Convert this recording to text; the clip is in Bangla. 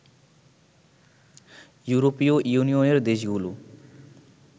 ইউরোপীয় ইউনিয়নের দেশগুলো